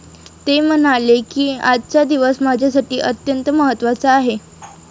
ते म्हणाले की, आजचा दिवस माझ्यासाठी अत्यंत महत्वाचा आहे.